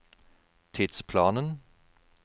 tidsplanen